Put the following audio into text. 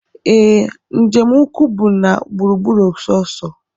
Ee, njem ụkwụ bụ na gburu gburu sọọsọ